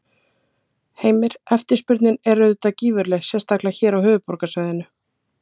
Heimir: Eftirspurnin er auðvitað gífurleg, sérstaklega hér á höfuðborgarsvæðinu?